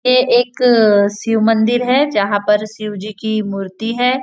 ये एक शिव मंदिर है जहाँ पर शिव जी की मूर्ति है।